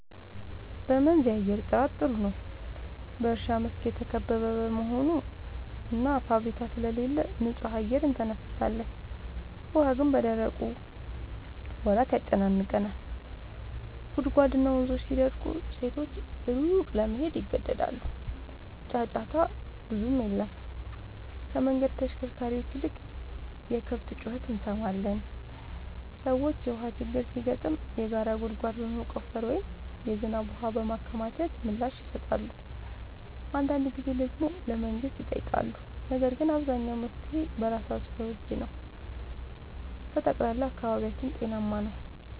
በመንዝ የአየር ጥራት ጥሩ ነው፤ በእርሻ መስክ የተከበበ በመሆኑ እና ፋብሪካ ስለሌለ ንጹህ አየር እንተነፍሳለን። ውሃ ግን በደረቁ ወራት ያጨናንቃል፤ ጉድጓድና ወንዞች ሲደርቁ ሴቶች ሩቅ ለመሄድ ይገደዳሉ። ጫጫታ ብዙም የለም፤ ከመንገድ ተሽከርካሪዎች ይልቅ የከብት ጩኸት እንሰማለን። ሰዎች የውሃ ችግር ሲገጥም የጋራ ጉድጓድ በመቆፈር ወይም የዝናብ ውሃ በማከማቸት ምላሽ ይሰጣሉ። አንዳንድ ጊዜ ደግሞ ለመንግሥት ይጠይቃሉ፤ ነገር ግን አብዛኛው መፍትሔ በራሳቸው እጅ ነው። በጠቅላላው አካባቢያችን ጤናማ ነው።